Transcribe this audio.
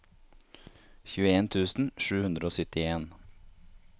tjueen tusen sju hundre og syttien